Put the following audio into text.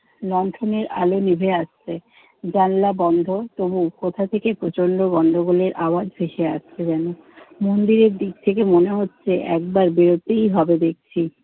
লণ্ঠনের আলো নিভে আসছে, জানালা বন্ধ তবুও কোথা থেকে প্রচণ্ড গন্ডগোলের আওয়াজ ভেসে আসছে যেন। মন্দিরের দিক থেকে মনে হচ্ছে একবার বেরোতেই হবে দেখছি।